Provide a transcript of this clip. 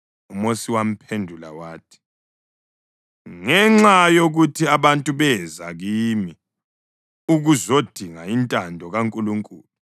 UMosi wamphendula wathi, “Ngenxa yokuthi abantu beza kimi ukuzodinga intando kaNkulunkulu.